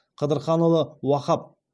қыдырханұлы уахап